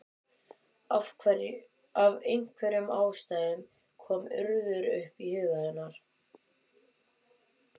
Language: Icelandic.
Af einhverjum ástæðum kom Urður upp í huga hennar.